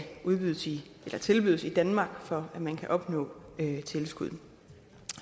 tilbydes i danmark for at man kan opnå tilskud